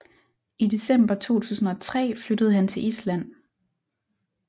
I december 2003 flyttede han til Island